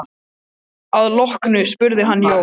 Að því loknu spurði hann Jón